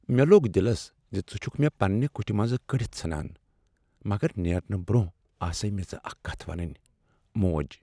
مےٚ لوٚگ دلس زِ ژٕ چھُکھ مےٚ پنٛنہ کٹھ منٛزٕ کٔڑتھ ژھٕنان، مگر نیرنہٕ برٛۄنٛہہ ٲسٕے مےٚ ژےٚ اکھ کتھ ونٕنۍ، موج